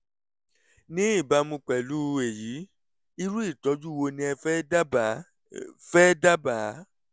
ní ìbámu pẹ̀lú èyí irú ìtọ́jú wo ni ẹ fẹ́ dábàá? fẹ́ dábàá?